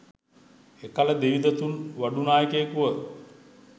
එකල දෙව්දතුන් වඩු නායකුයෙකුව